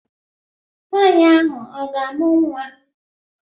Nwaanyị ahụ ọ ga-amụ nwa?